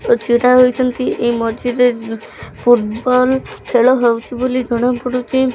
ଛିଡାହେଇଛନ୍ତି ଏଇ ମଝିରେ ଫୂଟବଲ ଖେଳ ହୋଉଚି ବୋଲି ଜଣାପଡୁଚି।